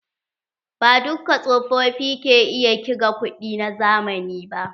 Ba dukka tsofofi ke iya kiga kuɗi na zamani ba.